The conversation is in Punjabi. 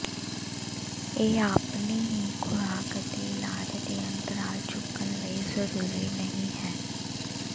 ਇਹ ਆਪਣੇ ਹੀ ਖੁਰਾਕ ਅਤੇ ਇਲਾਜ ਦੇ ਅੰਤਰਾਲ ਚੁੱਕਣ ਲਈ ਜ਼ਰੂਰੀ ਨਹੀ ਹੈ